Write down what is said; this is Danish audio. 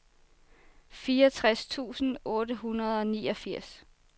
fireogtres tusind otte hundrede og niogfirs